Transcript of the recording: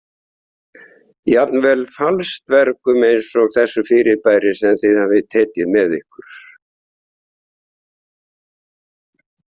Jafnvel falsdvergum eins og þessu fyrirbæri sem þið hafið tekið með ykkur.